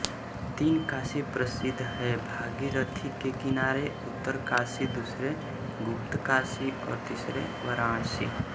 तीन काशी प्रसिद्ध हैं भागीरथी के किनारे उत्तरकाशी दूसरी गुप्तकाशी और तीसरी वाराणसी